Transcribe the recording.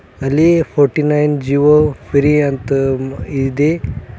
ಅಲ್ಲಿ forty nine Jio free ಅಂತ ಇದೆ.